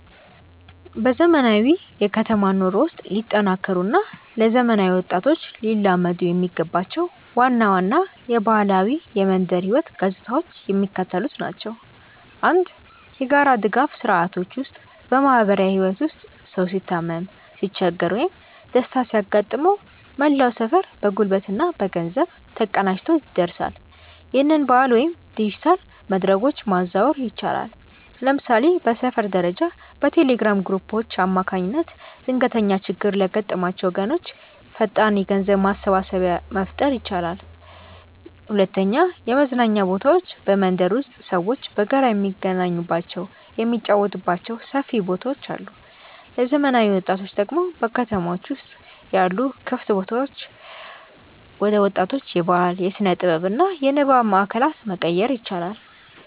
በዘመናዊው የከተማ ኑሮ ውስጥ ሊጠናከሩ እና ለዘመናዊ ወጣቶች ሊላመዱ የሚገባቸው ዋና ዋና የባህላዊ የመንደር ህይወት ገጽታዎች የሚከተሉት ናቸው፦ 1. የጋራ ድጋፍ ስርዓቶች ውስጥ በማህበራዊ ህይወት ውስጥ ሰው ሲታመም፣ ሲቸገር ወይም ደስታ ሲያጋጥመው መላው ሰፈር በጉልበትና በገንዘብ ተቀናጅቶ ይደርሳል። ይህንን ባህል ወደ ዲጂታል መድረኮች ማዛወር ይቻላል። ለምሳሌ በሰፈር ደረጃ በቴሌግራም ግሩፖች አማካኝነት ድንገተኛ ችግር ለገጠማቸው ወገኖች ፈጣን የገንዘብ ማሰባሰቢያ መፍጠር ይቻላል። 2. የመዝናኛ ቦታዎች በመንደር ውስጥ ሰዎች በጋራ የሚገናኙባቸው፣ የሚጫወቱባቸው ሰፊ ቦታዎች አሉ። ለዘመናዊ ወጣቶች ደግሞ በከተሞች ውስጥ ያሉ ክፍት ቦታዎችን ወደ ወጣቶች የባህል፣ የስነ-ጥበብ እና የንባብ ማእከላት መቀየር ይቻላል።